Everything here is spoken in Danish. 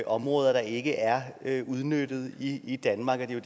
områder der ikke er er udnyttet i i danmark og det er